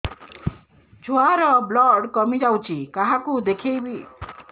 ଛୁଆ ର ବ୍ଲଡ଼ କମି ଯାଉଛି କାହାକୁ ଦେଖେଇବି